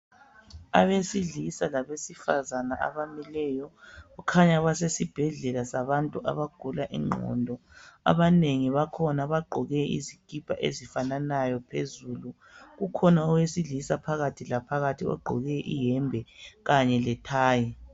Abesilisa labesifazana abamileyo kukhanya basesibhedlela sabantu abagula ingqondo, abanengi bakhona bagqoke izikipa ezifanayo phezulu kukhona owesilisa phakathi laphakathi ogqoke iyembe kanye lethayi.